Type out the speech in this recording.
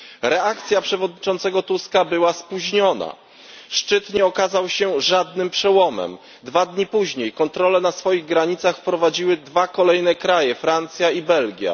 Reakcja przewodniczącego Tuska była spóźniona, szczyt nie okazał się żadnym przełomem. Dwa dni później kontrole na swoich granicach wprowadziły dwa kolejne kraje Francja i Belgia